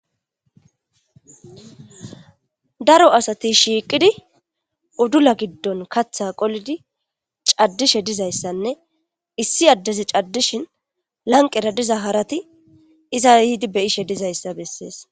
Daro asati shiqidi udula gidon katha qolidi cadishe dizaysane issi addezi cadishin harati iza yidi beyishe dizaysa beses